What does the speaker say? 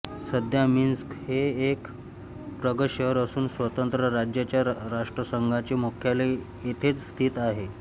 सध्या मिन्स्क हे एक प्रगत शहर असून स्वतंत्र राज्यांच्या राष्ट्रसंघाचे मुख्यालय येथेच स्थित आहे